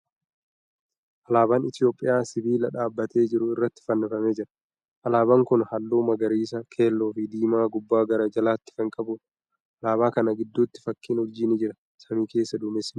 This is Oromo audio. Alaaban Itiyoophiyyaa sibiila dhaabbatee jiru irratti fannifamee jira. Alaaban kuni haalluu magariisa, keelloo fi diimaa gubbaa gara jalaatti kan qabuudha. Alaabaa kana giddutti fakkiin urjii ni jira. Samii keessa duumessi ni jira.